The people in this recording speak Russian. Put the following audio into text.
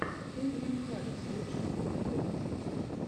кельвин харрис лучший эпизод